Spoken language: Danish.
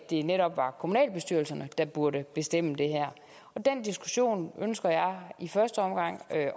det netop er kommunalbestyrelserne der burde bestemme det her den diskussion ønsker jeg i første omgang at